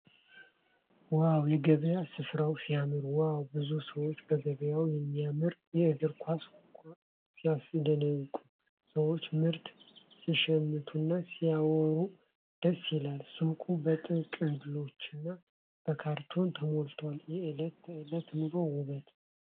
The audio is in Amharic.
ዋው! የገበያ ሥፍራው ሲያምር ዋው! ብዙ ሰዎች በገበያ የሚያማምሩ የእግር ኳስ ኳሶች ሲያስደንቁ። ሰዎች ምርት ሲሸምቱና ሲያወሩ ደስ ይላል። ሱቁ በጥቅሎችና በካርቶን ተሞልቷል። የእለት ተእለት ኑሮ ውበት!